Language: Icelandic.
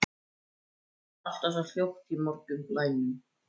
Það er allt svo hljótt í morgunblænum.